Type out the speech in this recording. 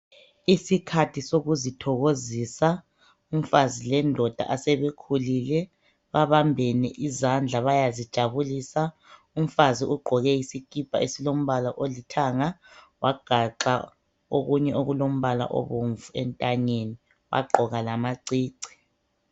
Isikhathi sokuzithokozisa. Umfazi lendoda asebekhulile, babambene izandla bayazijabulisa. Umfazi ugqoke isikipa esilombala olithanga wagaxa okunye okulombala obomvu entanyeni wagqoka lamacici.